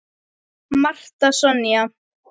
Marta Sonja.